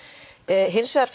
hins vegar